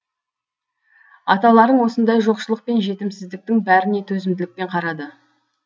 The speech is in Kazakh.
аталарың осындай жоқшылық пен жетімсіздіктің бәріне төзімділікпен қарады